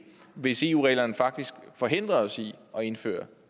hvis eu reglerne faktisk forhindrer os i at indføre